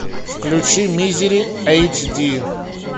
включи мизери эйч ди